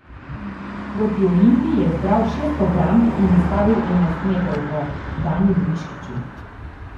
Proti Olimpiji je zbral šest obramb in ustavil enajstmetrovko Danijelu Miškiću.